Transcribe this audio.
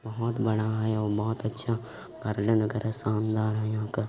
बहुत बड़ा है और बहुत अच्छा कार्ल्या नगर है शानदार है यहाँ का --